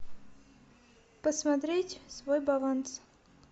посмотреть свой баланс